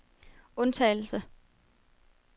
undtagelse